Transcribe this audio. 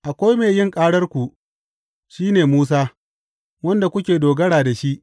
Akwai mai yin ƙararku, shi ne Musa, wanda kuke dogara da shi.